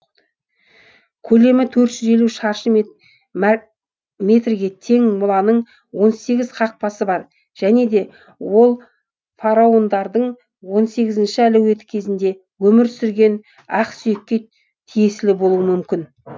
көлемі төрт жүз елу шаршы метрге тең моланың он сегіз қақпасы бар және де ол фараондардың он сегізінші әлеуеті кезінде өмір сүрген ақсүйекке тиесілі болуы мүмкін